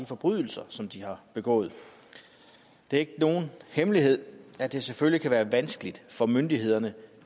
forbrydelser som de har begået det er ikke nogen hemmelighed at det selvfølgelig kan være vanskeligt for myndighederne